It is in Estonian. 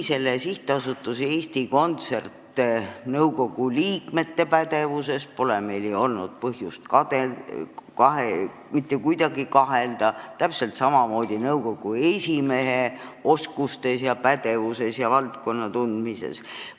Sihtasutuse Eesti Kontsert nõukogu liikmete pädevuses pole meil ju olnud põhjust mitte kuidagi kahelda, täpselt samamoodi pole olnud põhjust kahelda nõukogu esimehe oskustes, pädevuses ja valdkonna tundmises.